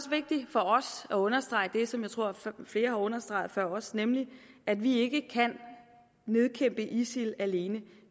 vigtigt for os at understrege det som jeg tror flere har understreget før os nemlig at vi ikke kan nedkæmpe isil alene